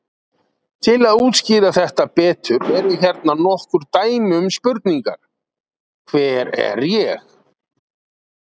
Til þess að útskýra þetta betur eru hérna nokkur dæmi um spurningar: Hver er ég?